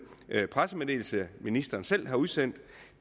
pressemeddelelse ministeren selv har udsendt